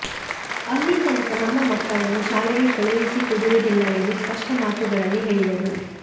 ಅಲ್ಲಿ ತನಕ ನಮ್ಮ ಮಕ್ಕಳನ್ನು ಶಾಲೆಗೆ ಕಳುಹಿಸಿ ಕೊಡುವುದಿಲ್ಲವೆಂದು ಸ್ಪಷ್ಟ ಮಾತುಗಳಲ್ಲಿ ಹೇಳಿದರು